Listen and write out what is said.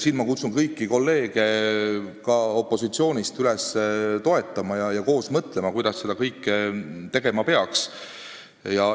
Siin ma kutsun kõiki kolleege, ka kolleege opositsioonist, üles seda mõtet toetama ja koos mõtlema, kuidas seda kõike tegema peaks.